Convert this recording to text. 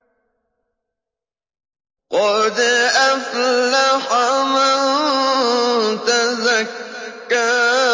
قَدْ أَفْلَحَ مَن تَزَكَّىٰ